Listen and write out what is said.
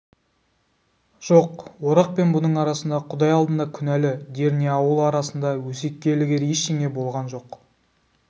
жоқ орақ пен бұның арасында құдай алдында күнәлі дер не ауыл арасында өсекке ілігер ештеңе болған жоқ